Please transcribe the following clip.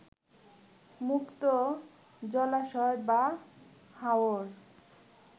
মুক্ত জলাশয় বা হাওর